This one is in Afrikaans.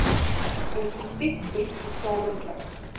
instituut bied gesamentlik